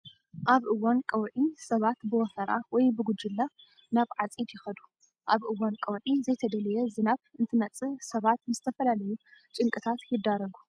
ኣብ እዋን ቀውዒ ሰባት ብወፈራ ወይ ብጉጅለ ናብ ዓፂድ ይኸዱ። ኣብ እዋን ቀውዒ ዘይተደለየ ዝናብ እንትመፅእ ሰባት ንዝተፈላለዩ ጭንቅታት ይዳረጉ።